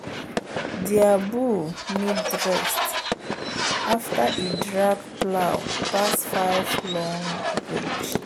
their bull need rest after e drag plow pass five long ridge.